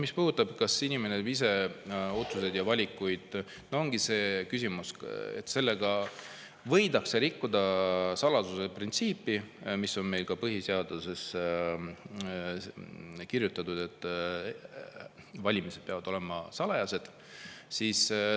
Mis puudutab seda, kas inimene ise teeb neid otsuseid ja valikuid, siis ongi küsimus, et võidakse rikkuda saladuse printsiipi, mis on meil ka põhiseadusesse kirjutatud: valimised peavad olema salajased.